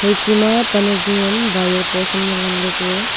chi ma pan jungam wire post am le ngan le ku ye.